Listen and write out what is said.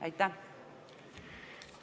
Aitäh!